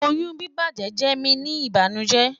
oyun bibajẹ jẹ mi ni ibanujẹ